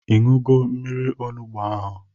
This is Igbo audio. Ịṅụgo mmiri onugbu ahụ?